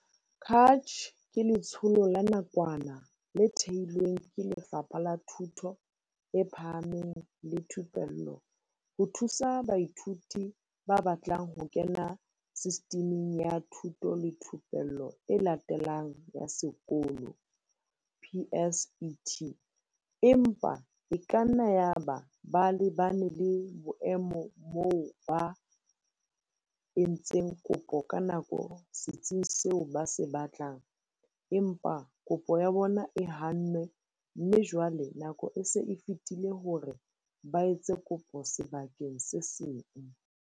CACH ke letsholo la nakwana le thehilweng ke Lefapha la Thuto e Phahameng le Thupello ho thusa baithuti ba batlang ho kena Sistiming ya Thuto le Thupello e Latelang ya Sekolo, PSET, empa e kanna yaba ba lebane le boemo moo ba, entseng kopo ka nako setsing seo ba se batlang, empa kopo ya bona e hannwe mme jwale nako e se e fetile hore ba etse kopo sebakeng se seng.